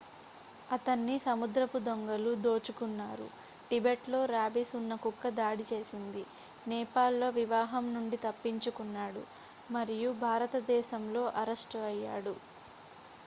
అతన్ని సముద్రపు దొంగలు దోచుకున్నారు టిబెట్ లో ర్యాబీస్ ఉన్న కుక్క దాడి చేసింది నేపాల్ లో వివాహం నుండి తప్పించుకున్నాడు మరియు భారతదేశంలో అరెస్టు అయ్యాడు